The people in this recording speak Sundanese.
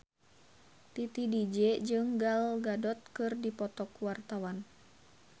Titi DJ jeung Gal Gadot keur dipoto ku wartawan